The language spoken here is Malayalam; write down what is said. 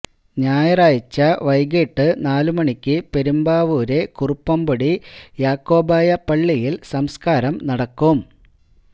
ഞായറാഴ്ച വൈകിട്ട് നാലുമണിക്ക് പെരുമ്പാവൂരെ കുറുപ്പുംപടി യാക്കോബായ പള്ളിയില് സംസ്കാരം നടക്കും